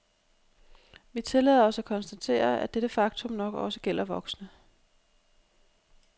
Vi tillader os at konstatere, at dette faktum nok også gælder voksne.